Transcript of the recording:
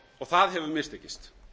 það hefur mistekist